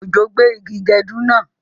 Òjò gbé igi gẹdú náà